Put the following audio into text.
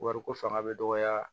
Wariko fanga bɛ dɔgɔya